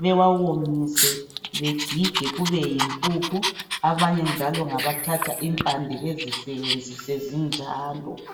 bawawomise bagige kube yimpuphu abanye njalo ngabathatha impande bezisebenzise zinjalo